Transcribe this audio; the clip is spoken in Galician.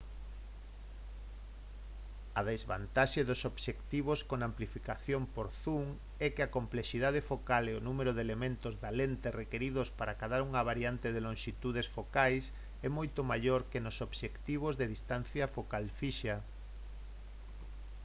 a desvantaxe dos obxectivos con amplificación por zoom é que a complexidade focal e o número de elementos da lente requiridos para acadar unha variedade de lonxitudes focais é moito maior que nos obxectivos de distancia focal fixa